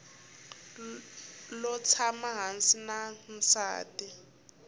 lo tshama hansi na nsati